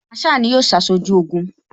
Masaa ni yóò ṣaṣojú Ogun